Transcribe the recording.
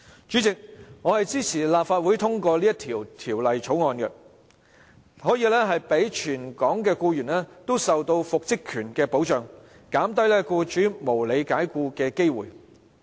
主席，我支持立法會通過這項《條例草案》，讓全港僱員都可以受到復職權的保障，減低僱主無理解僱的機會。